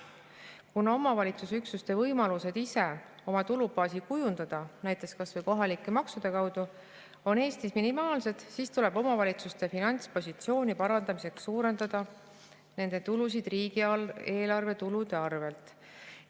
Kuna omavalitsusüksuste võimalused ise oma tulubaasi kujundada, näiteks kas või kohalike maksude kaudu, on Eestis minimaalsed, siis tuleb omavalitsuste finantspositsiooni parandamiseks suurendada nende tulusid riigieelarve tulude arvelt.